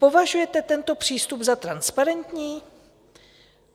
Považujete tento přístup za transparentní?